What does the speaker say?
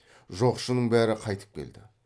жоқшының бәрі қайтып келді